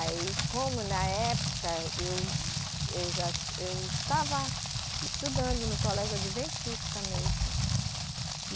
Aí, como na época, eu, eu já, eu estava estudando no colégio Adventista mesmo.